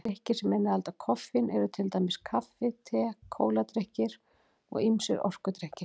Drykkir sem innihalda koffein eru til dæmis kaffi, te, kóladrykkir og ýmsir orkudrykkir.